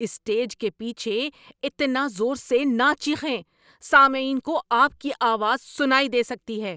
Stage کے پیچھے اتنا زور سے نہ چیخیں۔ سامعین کو آپ کی آواز سنائی دے سکتی ہے۔